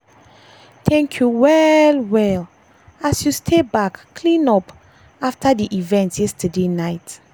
thank you well well as you stay back clean up back clean up after dey event yesterday night.